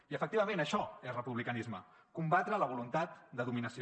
i efectivament això és republicanisme combatre la voluntat de dominació